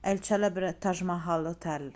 e il celebre taj mahal hotel